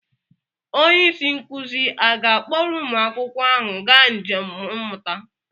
Onye isi nkụzi a ga-akpọrọ ụmụ akwụkwọ ahụ gaa njem mmụta?